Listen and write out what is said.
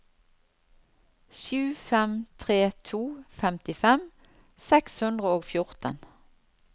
sju fem tre to femtifem seks hundre og fjorten